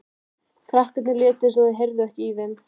Krakkarnir létu eins og þau heyrðu ekki í þeim.